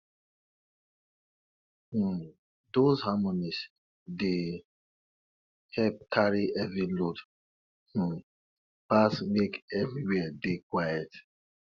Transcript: um those harmonies dey help carry heavy loads um pass make everywhere dey quiet